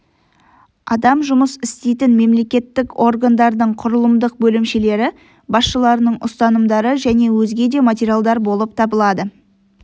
адам жұмыс істейтін мемлекеттік органдардың құрылымдық бөлімшелері басшыларының ұсынымдары және өзге де материалдар болып табылады